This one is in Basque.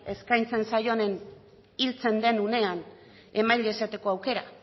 eskaintzen zaion hiltzen den unean esateko aukera